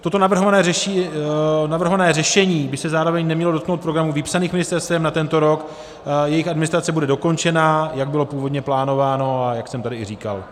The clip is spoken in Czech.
Toto navrhované řešení by se zároveň nemělo dotknout programů vypsaných ministerstvem na tento rok, jejich administrace bude dokončena, jak byla původně plánována a jak jsem tady i říkal.